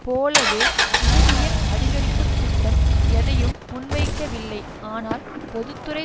போலவே ஊதிய அதிகரிப்புத் திட்டம் எதையும் முன்வைக்கவில்லை ஆனால் பொது துறை